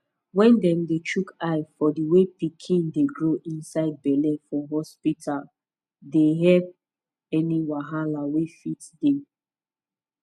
wen dem dey chook eye for the way pikin dey grow inside belle for hospita dey helpemm any wahala wey fit dey